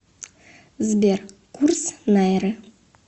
сбер курс найры